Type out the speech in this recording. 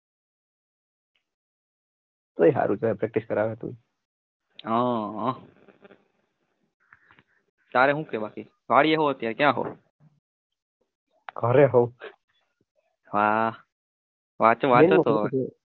હા હા